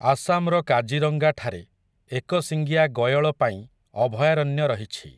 ଆସାମ୍‌ର କାଜିରଙ୍ଗାଠାରେ ଏକଶିଙ୍ଗିଆ ଗୟଳ ପାଇଁ ଅଭୟାରଣ୍ୟ ରହିଛି ।